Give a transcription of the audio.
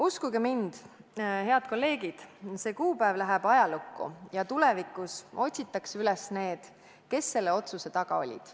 Uskuge mind, head kolleegid, see kuupäev läheb ajalukku ja tulevikus otsitakse üles need, kes selle otsuse taga olid.